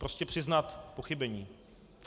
Prostě přiznat pochybení.